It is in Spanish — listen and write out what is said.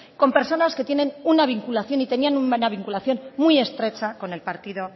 con personas que tienen una vinculación y tenían una vinculación muy estrecha con el partido